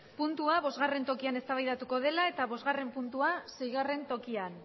puntua bosgarren tokian ezda baidatuko dela eta bosgarren puntua seigarren tokian